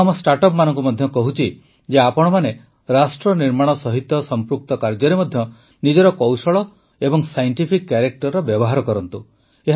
ମୁଁ ଆମ ଷ୍ଟାର୍ଟଅପମାନଙ୍କୁ ମଧ୍ୟ କହୁଛି ଯେ ଆପଣମାନେ ରାଷ୍ଟ୍ର ନିର୍ମାଣ ସହିତ ସମ୍ପୃକ୍ତ କାର୍ଯ୍ୟରେ ମଧ୍ୟ ନିଜର କୌଶଳ ଓ ସାଇଂଟିଫିକ୍ କ୍ୟାରେକ୍ଟରର ବ୍ୟବହାର କରନ୍ତୁ